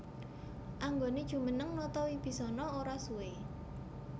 Anggoné jumeneng nata Wibisana ora suwé